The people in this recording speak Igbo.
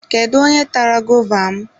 Kedu onye tara gova m ụnyaahụ?